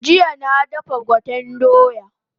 Jiya na dafa gwaten doya